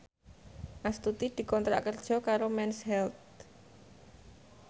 Astuti dikontrak kerja karo Mens Health